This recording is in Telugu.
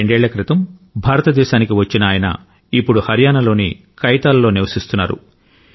రెండేళ్ల క్రితం భారతదేశానికి వచ్చిన ఆయన ఇప్పుడు హర్యానాలోని కైతాల్లో నివసిస్తున్నారు